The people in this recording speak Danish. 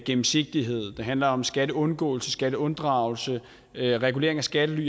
gennemsigtighed der handler om skatteundgåelse skatteunddragelse regulering af skattely